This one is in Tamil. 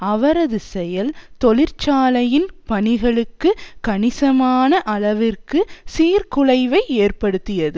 அவரது செயல் தொழிற்சாலையின் பணிகளுக்கு கணிசமான அளவிற்கு சீர்குலைவை ஏற்படுத்தியது